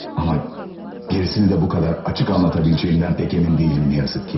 Amma gerisini də bu qədər açıq anlatabileceğimden pek emin deyiləm, nə yazık ki.